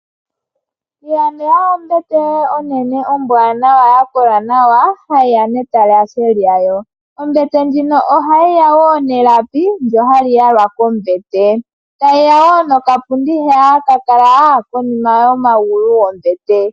Ilandela ombete yoye onene ombwanawa yakola nawa hayi ya netalashe lyayo. Ombete ndjino ohayi ya woo nelapi ndono hali yalwa kombete. Tayi ya wo nokapundi hono haka kala pomagulu gombete .